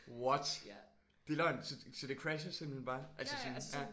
What? Det er løgn! Så det crasher simpelthen bare? Altså sådan?